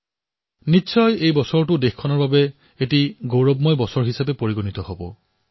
তেতিয়াহলে এই বৰ্ষটোও দেশৰ বাবে কীৰ্তিমান বৰ্ষ হিচাপে পৰিচিত হব